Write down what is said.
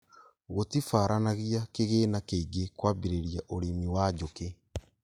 Gũtibaranagia kĩgĩna kĩingĩ kwambĩrĩria ũrĩmi wa njũkĩ